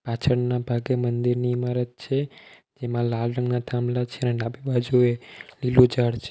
પાછળના ભાગે મંદિરની ઇમારત છે જેમાં લાલ રંગના થાંભલા છે અને ડાબી બાજુએ લીલુ ઝાડ છે.